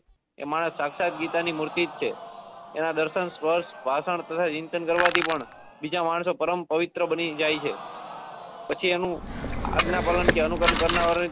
એ માણસ સાક્ષાત ગીતા ની મૂર્તિ જ છે એના દર્શન સપ્સ ભાસણ તથા કીર્તન કરવા થી પણ બીજા માણસો પરમ પ્રવિત્ર બની જાય છે પછી એનું આજ્ઞા પાલન અનુ કરણ કરનાર.